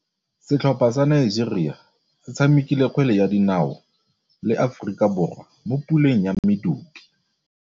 Setlhopha sa Nigeria se tshamekile kgwele ya dinaô le Aforika Borwa mo puleng ya medupe.